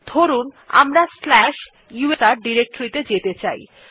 ধরুন আমরা slash USR directory তে যেতে চাই